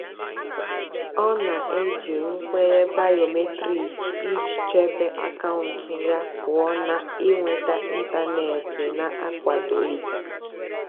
ọ́ nà-èjì nkwènyé bìómétric ìjì chèbé àkàụ́ntụ́ yá pụ́ọ́ nà ị́nwètá ị́ntánètị́ nà-ákwádòghị́.